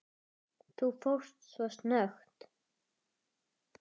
Þú fórst svo snöggt.